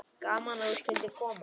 Gaman að þú skyldir koma.